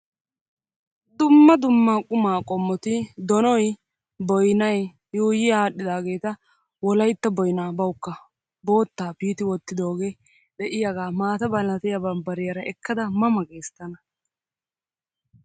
Dumma dumma quma qommoti donoyi, boyina yuuyyi aadhdhidaageeta wolaytta boyinaa bawukka boottaa piiti wottidooge de'iyaaga maata malatiya bambbariyaara ekkada ma ma ges tana.